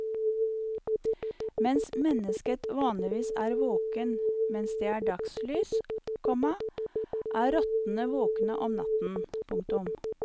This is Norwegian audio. Mens mennesket vanligvis er våkent mens det er dagslys, komma er rottene våkne om natten. punktum